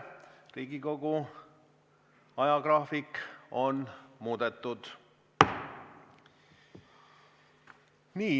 Riigikogu ajagraafik on muudetud.